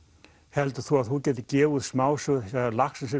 heldur þú að þú getir gefið út smásögur þegar Laxness